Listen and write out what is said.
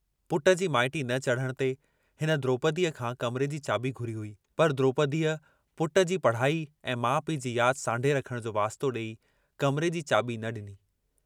पुट जी माइटी न चढ़ण ते हिन द्रोपदीअ खां कमरे जी चाबी घुरी हुई पर द्रोपदीअ पुट जी पढ़ाई ऐं माउ पीउ जी याद सांढे रखण जो वास्तो डेई कमरे जी चाबी न डिनी।